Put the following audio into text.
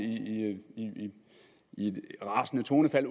i et rasende tonefald